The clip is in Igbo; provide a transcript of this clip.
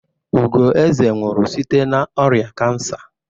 Ugoeze nwụrụ site n'ọrịa kansa.